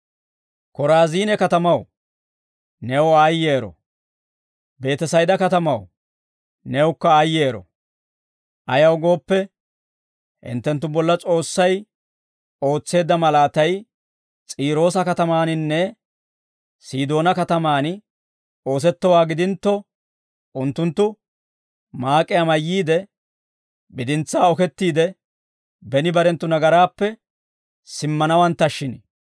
«Koraaziine katamaw, new aayyero; Beetesayda katamaw, newukka aayyero; ayaw gooppe, hinttenttu bolla S'oossay ootseedda malaatay S'iiroosa katamaaninne Sidoonaa katamaan oosettowaa gidintto, unttunttu maak'iyaa mayyiide, bidintsaa okettiide, beni barenttu nagaraappe simmanawanttashshin.